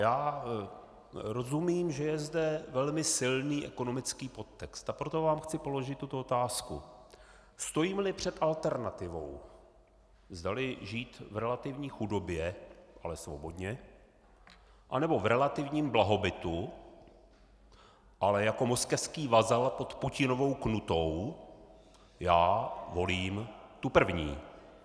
Já rozumím, že je zde velmi silný ekonomický podtext, a proto vám chci položit tuto otázku: Stojíme-li před alternativou, zdali žít v relativní chudobě, ale svobodně, anebo v relativním blahobytu, ale jako moskevský vazal pod Putinovou knutou, já volím tu první.